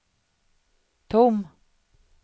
tom